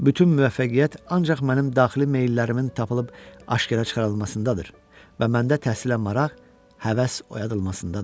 Bütün müvəffəqiyyət ancaq mənim daxili meyllərimin tapılıb aşkara çıxarılmasındadır və məndə təhsilə maraq, həvəs oyadılmasındadır.